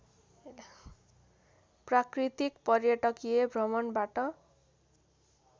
प्राकृतिक पर्यटकीय भ्रमणबाट